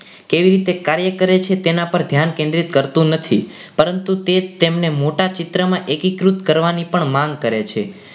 કેવી રીતે કાર્ય કરે છે તેના પર ધ્યાન કેન્દ્રિત કરતું નથી પરંતુ તે તેમને મોટા ચિત્રમાં એકત્રિત કરવાની પણ માંગ કરે છે.